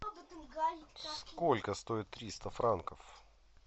сколько стоит триста франков